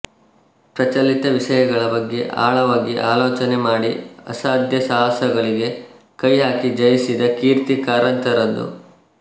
ಪ್ರಚಲಿತ ವಿಷಯಗಳ ಬಗ್ಗೆ ಆಳವಾಗಿ ಅಲೋಚನೆ ಮಾಡಿ ಅಸಾಧ್ಯ ಸಾಹಸಗಳಿಗೆ ಕೈಹಾಕಿ ಜಯಿಸಿದ ಕೀರ್ತಿ ಕಾರಂತರದು